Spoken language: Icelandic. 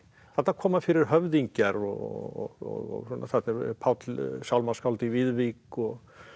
þarna koma fyrir höfðingjar og þarna er Páll sálmaskáld í Viðvík og